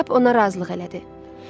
Kap ona razılıq elədi.